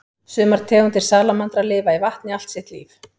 Sumar tegundir salamandra lifa í vatni allt sitt líf.